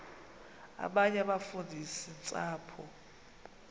abanye abafundisi ntshapo